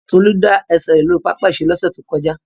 Tolu da ẹsẹ rẹ lori papa-iṣere losẹ to koja.